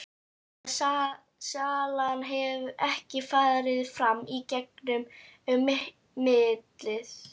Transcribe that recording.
Að salan hafi ekki farið fram í gegn um millilið.